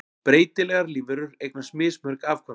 Breytilegar lífverur eignast mismörg afkvæmi.